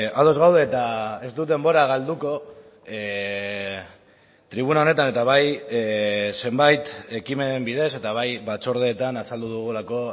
ados gaude eta ez dut denbora galduko tribuna honetan eta bai zenbait ekimenen bidez eta bai batzordeetan azaldu dugulako